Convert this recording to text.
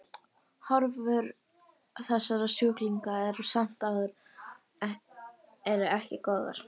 Horfur þessara sjúklinga eru samt sem áður eru ekki góðar.